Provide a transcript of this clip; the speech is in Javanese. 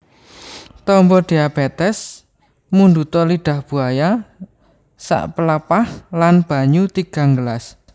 Tamba diabetes Mundhuta lidah buaya sapelepah lan banyu tigang gelas